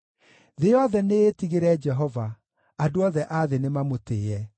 Thĩ yothe nĩĩtigĩre Jehova; andũ othe a thĩ nĩmamũtĩĩe.